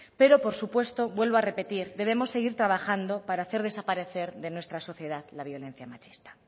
pero por supuesto vuelvo a repetir debemos seguir trabajando para hacer desaparecer de nuestra sociedad la violencia machista